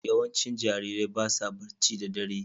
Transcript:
Yawancin jarirai ba sa barci da ɗare